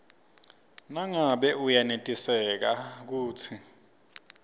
nangabe uyenetiseka kutsi